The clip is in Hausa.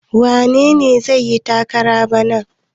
Wane ne zai yi takarar bana?